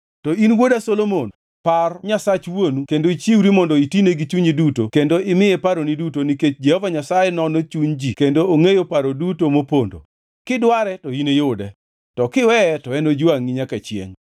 “To in wuoda Solomon, par Nyasach wuonu kendo ichiwri mondo itine gi chunyi duto kendo imiye paroni duto nikech Jehova Nyasaye nono chuny ji duto kendo ongʼeyo paro duto mopondo. Kidware, to iniyude, to kiweye, to enojwangʼi nyaka chiengʼ.